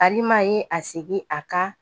Alima ye a segin a ka